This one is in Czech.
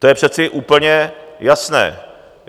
To je přece úplně jasné.